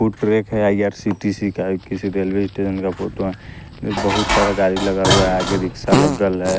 Foot track है आई_आर_सी_टी_सी का किसी रेलवे स्टेशन का फोटो है बहुत सारा गाड़ी लगा हुआ है आगे रिक्शा लग्ग्ल है।